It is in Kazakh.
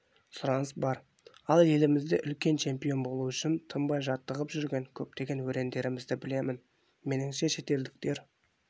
сұраныс бар ал елімізде чемпион болу үшін тынбай жаттығып жүрген көптеген өрендерімізді білемін меніңше шетелдіктер